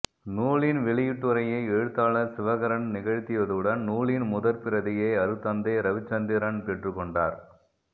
நூலின் வெளியிட்டுரையை ஏழுத்தாளர் சிவகரன் நிகழ்த்தியதுடன் நூலின் முதற் பிரதியை அருட்தந்தை ரவிச்சந்திரன் பெற்றுக்கொண்டார்